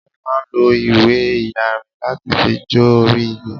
wọ́n máa ń lo ìwé iyanrìn láti fi jó orí igi